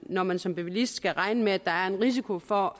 når man som bilist skal regne med at der er en risiko for